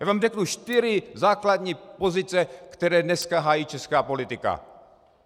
Já vám řeknu čtyři základní pozice, které dneska hájí česká politika.